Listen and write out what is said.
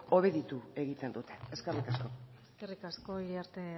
obeditu egiten dute eskerrik asko eskerrik asko iriarte